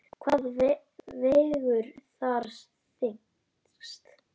Hvað vegur þar þyngst?